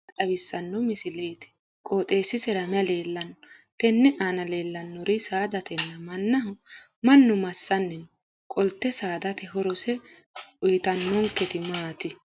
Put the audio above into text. tini maa xawissanno misileeti? qooxeessisera may leellanno? tenne aana leellannori saadatenna mannaho. mannu massanni no? qolte saadate horose uyiitannonketi maati?